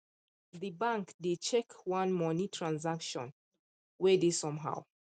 the bank dey check one money transaction wey dey somehow